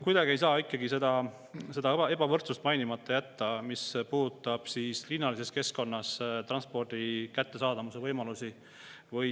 Kuidagi ei saa ikkagi mainimata jätta seda ebavõrdsust, mis puudutab linnalises keskkonnas ja hajaasustuses, maapiirkonnas transpordi kättesaadavuse võimalusi.